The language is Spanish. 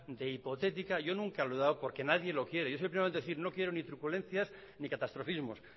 de hipotética yo nunca lo he dado porque nadie lo quiere yo simplemente decir no quiero ni truculencias ni catastrofismos